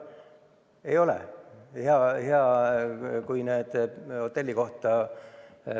Ei ole!